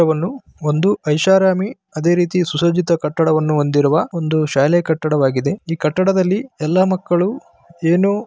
ಒಂದು ಐಷಾರಾಮಿ ಅದೇ ರೀತಿ ಸುಸಜ್ಜಿತ ಕಟ್ಟಡವನ್ನು ಹೊಂದಿರುವ ಒಂದು ಶಾಲೆ ಕಟ್ಟಡವಾಗಿದೆ. ಈ ಕಟ್ಟಡದಲ್ಲಿ ಎಲ್ಲಾ ಮಕ್ಕಳು ಏನೋ --